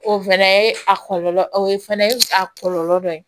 O fɛnɛ ye a kɔlɔlɔ o ye fana a kɔlɔlɔ dɔ ye